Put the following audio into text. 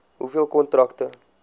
hoeveel kontrakte